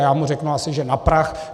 A já mu řeknu, asi že na prach.